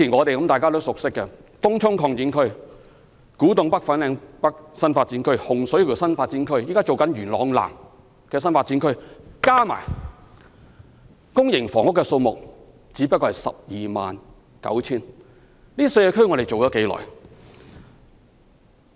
大家熟悉的東涌擴展區、古洞北/粉嶺北新發展區、洪水橋新發展區，以及現時推行的元朗南新發展區，加起來的公營房屋只不過是 129,000 個。